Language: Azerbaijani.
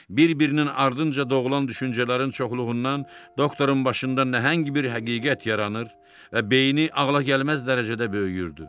Bir-birinin ardınca doğulan düşüncələrin çoxluğundan doktorun başında nəhəng bir həqiqət yaranır və beyni ağlagəlməz dərəcədə böyüyürdü.